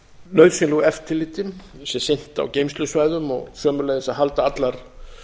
nauðsynlegu eftirliti sé sinnt á geymslusvæðum og sömuleiðis að halda allar